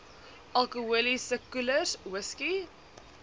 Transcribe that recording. alkoholiese koelers whisky